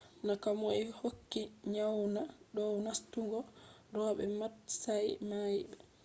na komoi hokki nyaamna dow nastungo ro’be matsayi mai ba